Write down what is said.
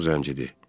O qaçaq zəncidir.